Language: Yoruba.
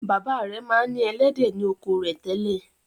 Bàbá rẹ̀ ma ń ní “ ẹlẹ́dẹ̀ ” ni oko rẹ̀ tẹ́lẹ̀.